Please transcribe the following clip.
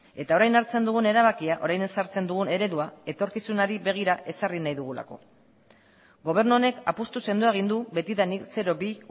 eta orain hartzen dugun erabakia orain ezartzen dugun eredua etorkizunari begira ezarri nahi dugulako gobernu honek apustu sendoa egin du betidanik zero bi